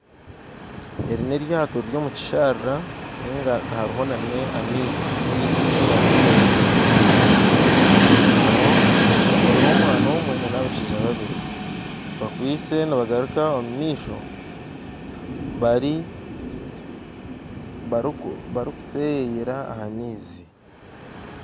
Eri n'eryato riri omu kisharara ninga hariho nana amaizi ninga enyanja rishutamireho omwana omwe nana abashaija babiri bakwaitse nibagaruka omu maizi barikuseyeyera omu maizi